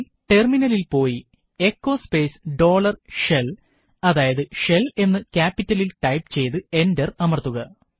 ടെർമിനലിൽ പോയി echo space dollar shell shell എന്ന് ക്യാപിറ്റൽസ് ഇൽ ടൈപ്പ് ചെയ്തു എന്റർ അമർത്തുക